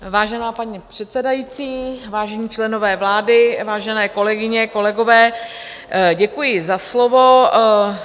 Vážená paní předsedající, vážení členové vlády, vážené kolegyně, kolegové, děkuji za slovo.